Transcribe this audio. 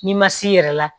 N'i ma s'i yɛrɛ la